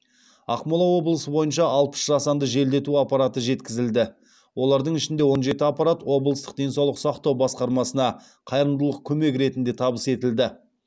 ақмола облысы бойынша алпыс жасанды желдету аппараты жеткізілді олардың ішінде он жеті аппарат облыстық денсаулық сақтау басқармасына қайырымдылық көмек ретінде табыс етілді